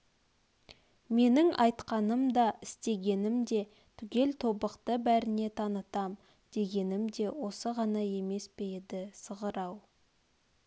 менің айтқаным да істегенім де түгел тобықты бәріне танытам дегенім де осы ғана емес пе еді сығыр-ау